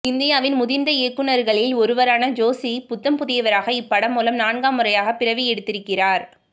இந்தியாவின் முதிர்ந்த இயக்குநர்களில் ஒருவரான ஜோஷி புத்தம் புதியவராக இப்படம் மூலம் நான்காம் முறையாக பிறவி எடுத்திருக்கிறார்